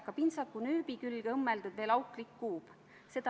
Kas Riigikogu liikmetel on soovi pidada läbirääkimisi?